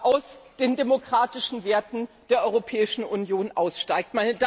aus den demokratischen Werte der Europäischen Union aussteigt.